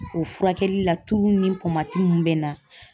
O furakɛli la tulu ni mun bɛ na